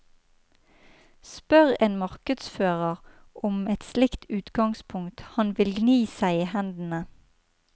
Spør en markedsfører om et slikt utgangspunkt, han vil gni seg i hendene.